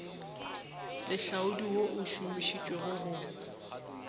lehlaodi wo o šomišitšwego go